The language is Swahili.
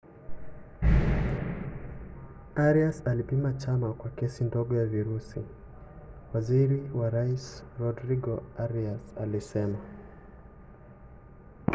arias alipima chanya kwa kesi ndogo ya virusi waziri wa rais rodrigo arias alisema